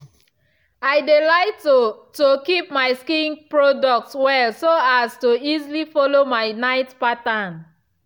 i dey like to to keep my skincare products well so as to easily follow my night pattern.